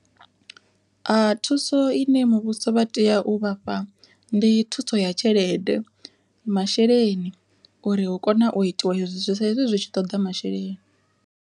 Thuso ine muvhuso vha tea u vhafha ndi thuso ya tshelede, masheleni uri hu kone u itiwa hezwi sa izwi zwi tshi ṱoḓa masheleni.